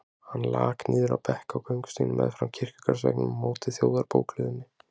Hann lak niður á bekk á göngustígnum meðfram kirkjugarðsveggnum á móti Þjóðarbókhlöðunni.